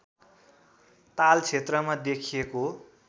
ताल क्षेत्रमा देखिएको